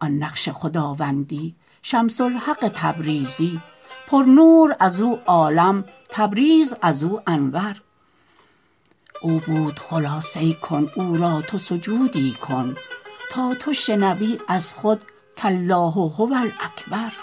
آن نقش خداوندی شمس الحق تبریزی پرنور از او عالم تبریز از او انور او بود خلاصه کن او را تو سجودی کن تا تو شنوی از خود کالله هو الاکبر